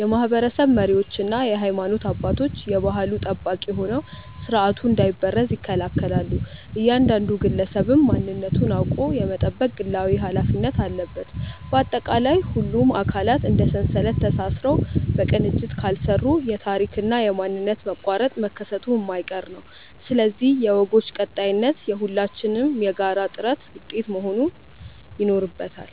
የማኅበረሰብ መሪዎችና የሃይማኖት አባቶች የባሕሉ ጠባቂ ሆነው ሥርዓቱ እንዳይበረዝ ይከላከላሉ፤ እያንዳንዱ ግለሰብም ማንነቱን አውቆ የመጠበቅ ግላዊ ኃላፊነት አለበት። ባጠቃላይ፣ ሁሉም አካላት እንደ ሰንሰለት ተሳስረው በቅንጅት ካልሠሩ የታሪክና የማንነት መቋረጥ መከሰቱ የማይቀር ነው፤ ስለዚህ የወጎች ቀጣይነት የሁላችንም የጋራ ጥረት ውጤት መሆን ይኖርበታል።